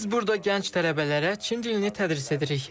Biz burda gənc tələbələrə Çin dilini tədris edirik.